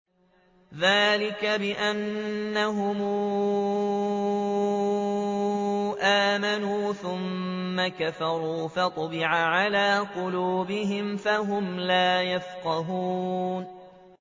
ذَٰلِكَ بِأَنَّهُمْ آمَنُوا ثُمَّ كَفَرُوا فَطُبِعَ عَلَىٰ قُلُوبِهِمْ فَهُمْ لَا يَفْقَهُونَ